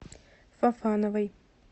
фофановой